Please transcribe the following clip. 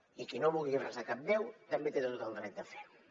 i qui no vulgui resar a cap déu també té tot el dret de fer ho